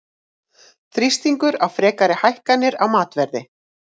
Þrýstingur á frekari hækkanir á matarverði